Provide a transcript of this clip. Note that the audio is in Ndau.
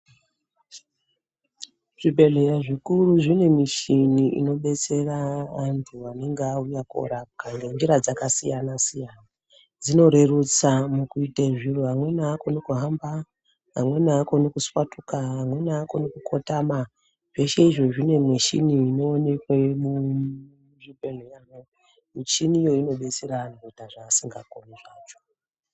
Zvibhedhleya zvikuru zvine michini inobetsera antu anenge auya kuorapwa ngenzira dzakasiyana-siyana. Dzinorerutse mukuite zviro, amweni haakoni kuhamba, amweni haakoni kuswatuka, amweni haakoni kukotama. Zveshe izvi zvine michini inoonekwe muzvibhedhleramwo. Michini iyi inodetsera anhu kuita zvaasingakoni zvacho.